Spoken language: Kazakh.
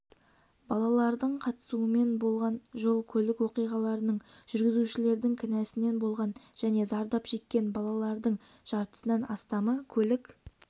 балалардың қатысуымен болған жол-көлік оқиғаларының жүргізушілердің кінәсінен болған және зардап шеккен балалардың жартысынан астамы көлік